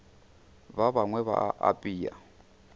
ba bangwe ba a apea